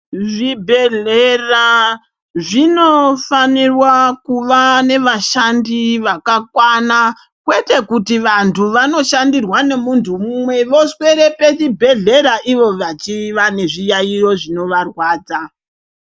Zvibhedhlera zvinofanirwa kuva nevashandi vakakwana kwete kuti vantu vanoshandirwa nemuntu umwe voswerw pachibhedhlera ivo vachiya nezviyaiyo zvinovarwadza.